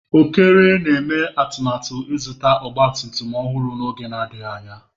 Okere na-eme atụmatụ ịzụta ọgba tum tum ọhụrụ n'oge adịghị anya.